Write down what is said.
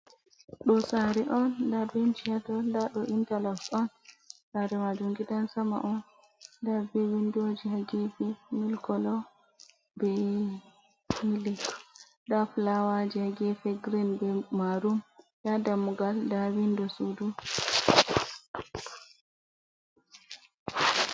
Ɗo sari on nda benchi hato, nda ɗo interlock on, saare majum gidan sama on, nda be windoji ha gefe milk kolo be milk, nda flawaji ha gefe green be marum nda dammugal da windo sudu.